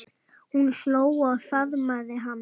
Hún hló og faðmaði hann.